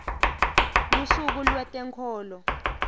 lusuku lwetenkholo